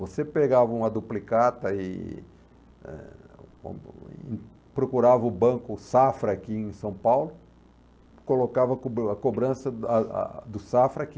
Você pegava uma duplicata e eh procurava o banco Safra aqui em São Paulo, colocava a cobrança da do Safra aqui.